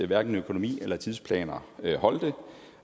hverken økonomi eller tidsplaner holdt